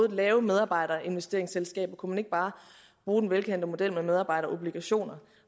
lave medarbejderinvesteringsselskaber kunne man ikke bare bruge den velkendte model med medarbejderobligationer